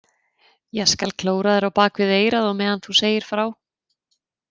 Ég skal klóra þér á bak við eyrað á meðan þú segir frá